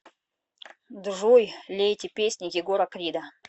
джой лейте песни егора крида